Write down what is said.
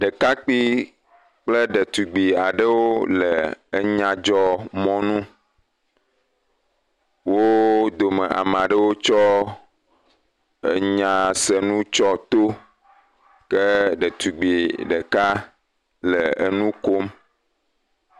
Ɖekakpui kple ɖetugbui aɖewo le enyadzɔmɔnu, wo dome amea ɖewo tsɔ enyasenu tsyɔ to ke ɖetugbui ɖeka le nu kom.